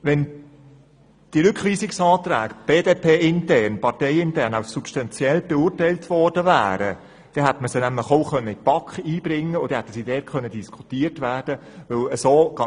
Wäre der Rückweisungsantrag BDP-intern als substanziell beurteilt worden, hätte dieser in die BaK eingebracht und dort diskutiert werden können.